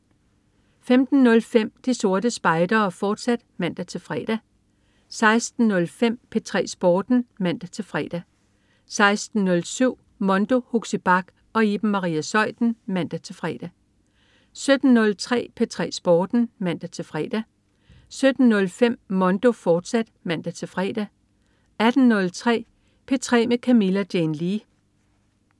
15.05 De Sorte Spejdere, fortsat (man-fre) 16.05 P3 Sporten (man-fre) 16.07 Mondo. Huxi Bach og Iben Maria Zeuthen (man-fre) 17.03 P3 Sporten (man-fre) 17.05 Mondo, fortsat (man-fre) 18.03 P3 med Camilla Jane Lea